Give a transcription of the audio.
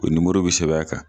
O bi sɛbɛn kan